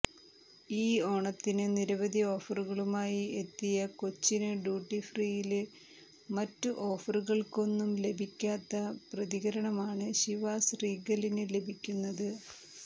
ഈ ഓണത്തിന് നിരവധി ഓഫറുകളുമായി എത്തിയ കൊച്ചിന് ഡ്യൂട്ടി ഫ്രീയില് മറ്റു ഓഫറുകള്ക്കൊന്നും ലഭിക്കാത്ത പ്രതികരണമാണ് ശിവാസ് റീഗലിന് ലഭിക്കുന്നത്